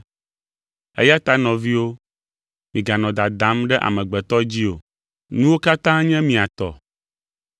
Eya ta nɔviwo, miganɔ dadam ɖe amegbetɔ dzi o! Nuwo katã nye mia tɔ,